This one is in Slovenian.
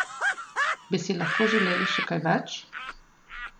Bi si lahko želeli še kaj več?